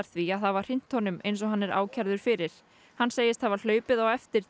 því að hafa hrint honum eins og hann er ákærður fyrir hann segist hafa hlaupið á eftir